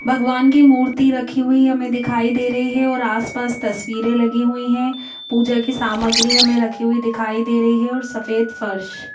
भगवान की मूर्ति रखी हुई हमें दिखाई दे रही है और आसपास तस्वीरे लगी हुई है। पूजा की सामग्री हमें रखी हुई दिखाई दे रही है और सफेद फर्श--